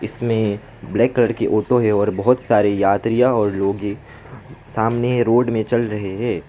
इसमें black colour की auto है और बहुत सारी यात्रियां और लोग हैं सामने रोड में चल रहे हैं।